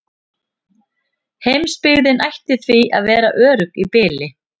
Heimsbyggðin ætti því að vera örugg í bili.